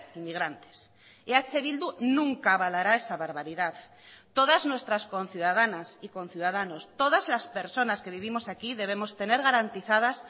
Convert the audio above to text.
inmigrantes eh bildu nunca avalará esa barbaridad todas nuestras conciudadanas y conciudadanos todas las personas que vivimos aquí debemos tener garantizadas